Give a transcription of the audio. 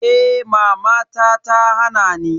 Eh mama ta hana ni.